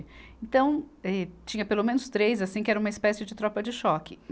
Então, eh, tinha pelo menos três, assim, que era uma espécie de tropa de choque.